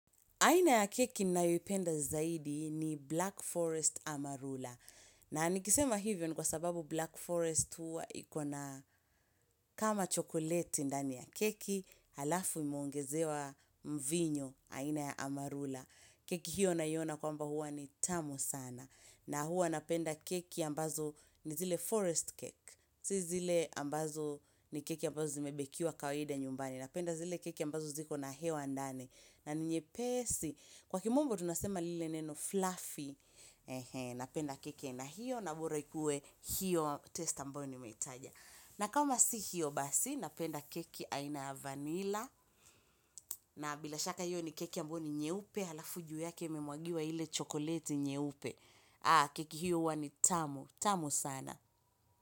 Aina ya keki ninayoipenda zaidi ni Black Forest Amarula. Na nikisema hivyo ni kwa sababu Black Forest hua ikona kama chokoleti ndani ya keki, alafu lime ongezewa mvinyo, aina ya Amarula. Keki hiyo naiona kwamba huwa ni tamu sana. Na huwa napenda keki ambazo zile forest cake. Si zile ambazo ni keki ambazo zimebekia kawaida nyumbani. Napenda zile keki ambazo ziko na hewa ndani. Na ni nyepesi, kwa kimombo tunasema lile neno fluffy, napenda keki aina hiyo na bora ikue hiyo taste ambayo nimeitaja. Na kama si hiyo basi, napenda keki aina ya vanila, na bila shaka hiyo ni keki ambayo ni nyeupe, alafu juu yake imemwagiwa ile chokoleti nyeupe. Haa, keki hiyo huwa ni tamu, tamu sana.